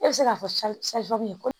E bɛ se k'a fɔ ko